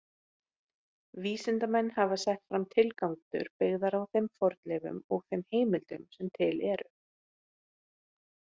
Vísindamenn hafa sett fram tilgátur byggðar á þeim fornleifum og þeim heimildum sem til eru.